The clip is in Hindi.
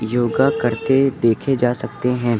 योगा करते देखे जा सकते हैं।